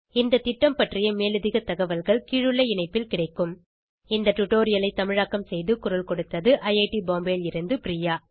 இந்த திட்டம் பற்றிய மேலதிக தகவல்கள் கீழுள்ள இணைப்பில் கிடைக்கும் httpspoken tutorialorgNMEICT Intro இந்த டுடோரியலை தமிழாக்கம் செய்து குரல் கொடுத்தது ஐஐடி பாம்பேவில் இருந்து பிரியா